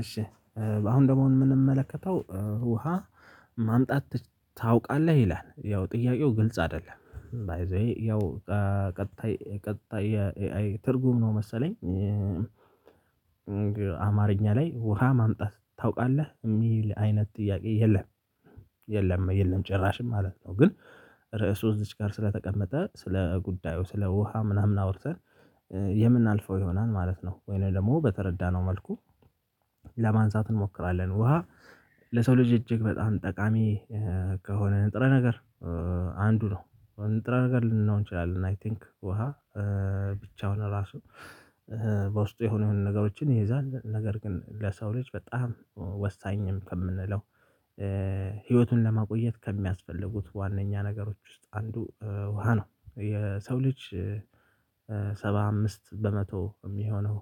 እሺ አሁን ደግሞ አሁን የምንመለከተው ውሃ ማምጣት ታውቃለህ ይላል ያው ጥያቄው ግልጽ አይደለም ባይ ዘ ዌይ ያው ቀጣይ ቀጣይ ትርጉም ነው። መሰለኝ አማርኛ ላይ ውሃ ማምጣት ታውቃለህ የሚል አይነት ጥያቄ የለም የለም የለም ጭራሽ ማለት ነው። ግን ርዕሱ እዚች ጋር ስለተቀመጠ ስለ ጉዳዩ ስለ ውሃ ምናምን አውርተን የምናልፈው ይሆናል ማለት ነው ወይንም ደግሞ በተረዳነው መልኩ ለማንሳት እንሞክራለን። ውሃ ለሰው ልጅ እጅግ በጣም ጠቃሚ ከሆነ ንጥረ ነገር አንዱ ነው ንጥረ ነገር ልንለው እንችላለን። አይ ቲንክ ውሃ ብቻውን ራሱ በውስጡ የሆኑ የሆኑ ነገሮችን ይዛል ነገር ግን ለሰው ልጅ በጣም ወሳኝም ከምንለው ህይወቱን ለማቆየት ከሚያስፈልጉት ዋናኛ ነገሮች ውስጥ አንዱ ውሃ ነው። የሰው ልጅ ሰባ አምስት በመቶ የሚሆነው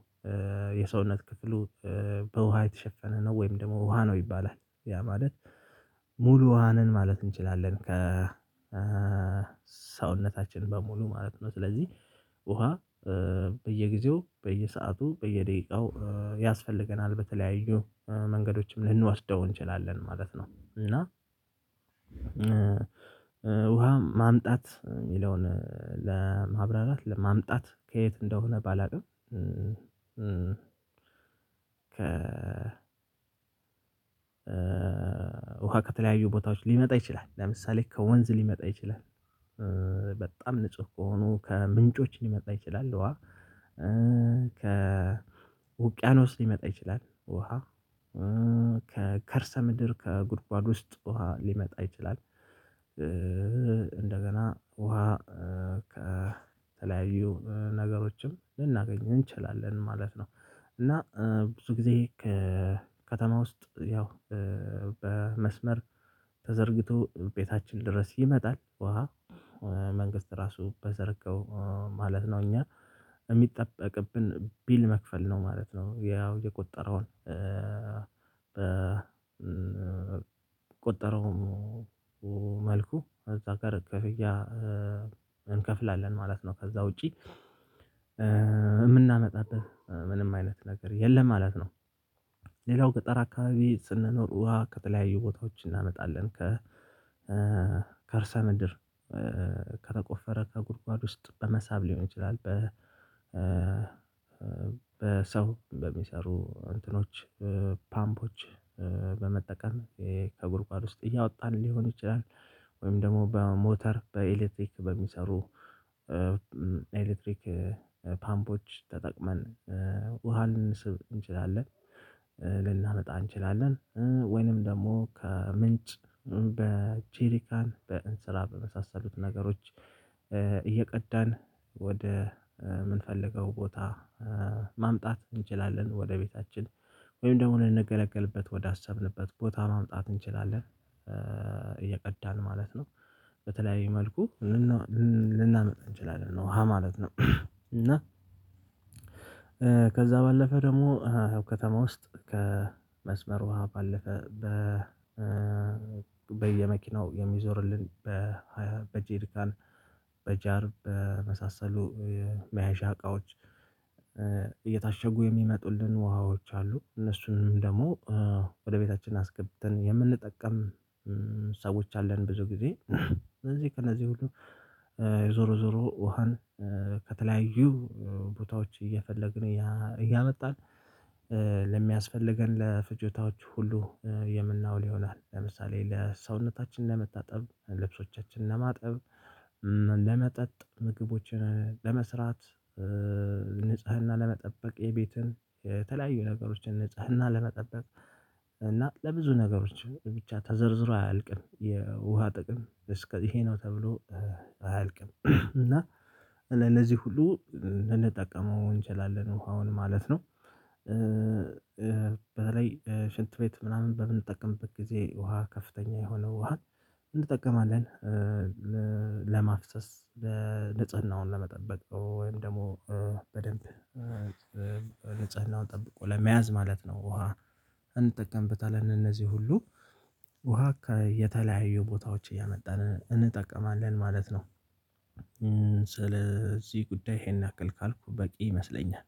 የሰውነት ክፍሉ በውሃ የተሸፈነ ነው። ወይም ደግሞ ውሃ ነው ይባላል ያ ማለት ሙሉ ውሃ ነን ማለት እንችላለን። ከሰውነታችን በሙሉ ማለት ነው። ስለዚህ ውሃ በየጊዜው በየሰአቱ በየደቂቃው ያስፈልገናል በተለያዩ መንገዶችም ልንወስደው እንችላለን ማለት ነው። እና ውሃ ማምጣት የሚለውን ለማብራራት ለማምጣት ከየት እንደሆነ ባላውቅም ውሃ ከተለያዩ ቦታዎች ሊመጣ ይችላል ለምሳሌ ከወንዝ ሊመጣ ይችላል። በጣም ንጹህ ከሆኑ ከምንጮች ሊመጣ ይችላል። ውሃ ከውቅያኖስ ሊመጣ ይችላል። ውሃ ከከርሰ ምድር ከጉድጓድ ውስጥ ውሃ ሊመጣ ይችላል። እንደገና ውሃ ከተለያዩ ነገሮችም ልናገኝ እንችላለን ማለት ነው። እና ብዙ ጊዜ ከከተማ ውስጥ ያው በመስመር ተዘርግቶ ቤታችን ድረስ ይመጣል ውሃ መንግስት ራሱ በዘረጋው ማለት ነው። እኛ የሚጠበቅብን ቢል መክፈል ነው ማለት ነው። ያው የቆጠረውን በቆጠረው መልኩ እዛ ጋር እንከፍላለን ማለት ነው። ከዛ ውጪ የምናመጣበት ምንም አይነት ነገር የለም ማለት ነው። ገጠር አካባቢ ስንኖር ውሃ ከተለያዩ ቦታዎች እናመጣለን ከ ከርሰ ምድር ከተቆፈረ ከጉድጓድ ውስጥ በመሳብ ሊሆን ይችላል። በ በሰው በሚሰሩ እንትኖች ፓምፖች በመጠቀም ከጉርጓድ ውስጥ እያወጣን ሊሆን ይችላል ወይም ደግሞ በሞተር በኤሌክትሪክ በሚሰሩ ኤሌክትሪክ ፓምፖች ተጠቅመን ውሃ ልንስብ እንችላለን። ልናመጣ እንችላለን ወይንም ደግሞ ከምንጭ በቼሪካን በእንስራ በመሳሰሉት ነገሮች እየቀዳን ወደ የምንፈልገው ቦታ ማምጣት እንችላለን። ወደ ቤታችን ወይም ደግሞ ልንገለገልበት ወደ አሰብንበት ቦታ ማምጣት እንችላለን እየቀዳን ማለት ነው። በተለያየ መልኩ ልናመጣ እንችላለን ውሃ ማለት ነው። እና ከዛ ባለፈ ደግሞ ከተማ ውስጥ ከመስመር ውሃ ባለፈ በ በየመኪናው የሚዞርልን በጄሪካን በጃር በመሳሰሉ መያዣ እቃዎች እየታሸጉ የሚመጡልን ውሃዎች አሉ። እነሱንም ደግሞ ወደ ቤታችን አስገብተን የምንጠቀም ሰዎች አለን። ብዙ ጊዜ ስለዚህ ሁሉ ዞሮ ዞሮ ውሃን ከተለያዩ ቦታዎች እየፈለግን እያመጣን ለሚያስፈልገን ለፍጆታዎች ሁሉ የምናውል ይሆናል። ለምሳሌ ለሰውነታችን ለመታጠብ ልብሶቻችን ለማጠብ ለመጠጥ ምግቦችን ለመስራት ንጽህና ለመጠበቅ የቤትን የተለያዩ ነገሮችን ንጽህና ለመጠበቅ እና ለብዙ ነገሮች ብቻ ተዘርዝሮ አያልቅም የውሃ ጥቅም እስከዚህ ይሄ ነው ተብሎ አያልቅም። እና ለእዚህ ሁሉ ልንጠቀመው እንችላለን ውሃውን ማለት ነው። በተለይ ሽንት ቤት ምናምን በምንጠቀምበት ጊዜ ውሃ ከፍተኛ የሆነው ውሃ እንጠቀማለን ለማፍሰስ ንጽህናውን ለመጠበቅ ወይም ደግሞ በደንብ ንጵህናውን ጠብቆ ለመያዝ ማለት ነው። ውሃ እንጠቀምበታለን እነዚህ ሁሉ ውሃ የተለያዩ ቦታዎች እያመጣን እንጠቀማለን ማለት ነው። ስለዚህ ጉዳይ ይሄን ያክል ካልኩ በቂ ይመስለኛል።